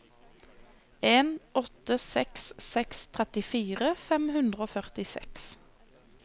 en åtte seks seks trettifire fem hundre og førtiseks